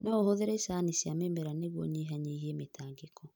No ũhũthĩre icani cia mĩmera nĩguo ũnyihanyihie mĩtangĩko.